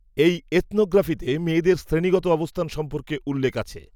এই, এথনো গ্র্যাফিতে, মেয়েদের শ্রেণিগত অবস্থান সম্পর্কে উল্লেখ আছে